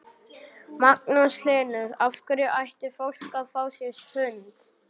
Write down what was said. Magnús Hlynur: Af hverju ætti fólk að fá sér hund?